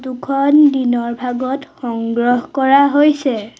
খন দিনৰ ভাগত সংগ্ৰহ কৰা হৈছে।